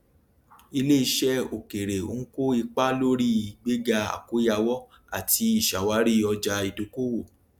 iléiṣẹ òkèèrè ń kó ipa lórí ìgbéga àkóyàwọ àti ìṣàwárí ọjà ìdókòwò